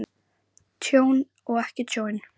Tjón og ekki tjón?